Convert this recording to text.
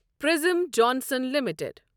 پرزٔم Johnson limited